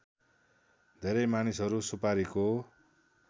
धेरै मानिसहरू सुपारीको